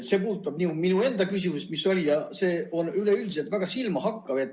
See puudutab nii minu enda küsimuse esitamist, aga on ka üleüldiselt väga silmahakkav.